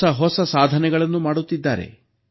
ಹೊಸಹೊಸ ಸಾಧನೆಗಳನ್ನು ಮಾಡುತ್ತಿದ್ದಾರೆ